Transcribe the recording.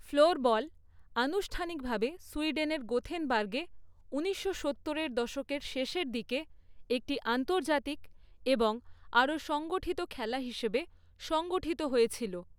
Floorball আনুষ্ঠানিকভাবে সুইডেনের গোথেনবার্গে ঊনিশশো সত্তর এর দশকের শেষের দিকে একটি আন্তর্জাতিক এবং আরও সংগঠিত খেলা হিসাবে সংগঠিত হয়েছিল।